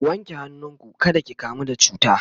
ku wanke hannu ku kada ki kamu da cuta!